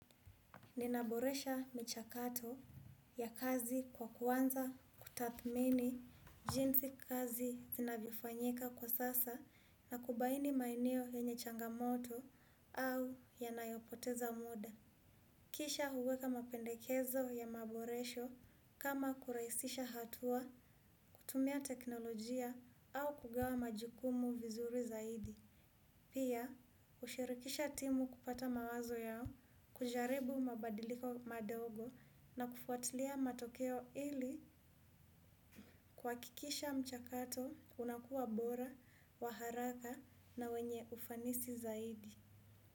Ninaboresha michakato ya kazi kwa kuanza kutathmini jinsi kazi inavyofanyika kwa sasa na kubaini maeneo yenye changamoto au yanayopoteza muda. Kisha huweka mapendekezo ya maboresho kama kurahisisha hatua kutumia teknolojia au kugawa majukumu vizuri zaidi. Pia, hushirikisha timu kupata mawazo yao, kujaribu mabadiliko madogo na kufuatilia matokeo ili kuhakikisha mchakato unakuwa bora, wa haraka na wenye ufanisi zaidi.